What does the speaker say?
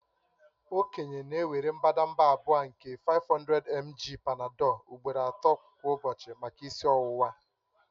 Okenye na-ewere mbadamba abụọ nke 500mg Panadol ugboro ato kwa ụbọchị maka isi ọwụwa